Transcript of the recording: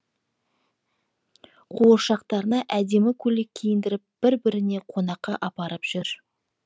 қуыршақтарына әдемі көйлек киіндіріп бір біріне қонаққа апарып жүр